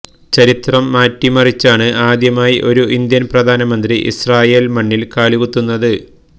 ചരിത്രം മാറ്റിമറിച്ചാണ് ആദ്യമായി ഒരു ഇന്ത്യന് പ്രധാനമന്ത്രി ഇസ്രയേല് മണ്ണില് കാലു കുത്തുന്നത്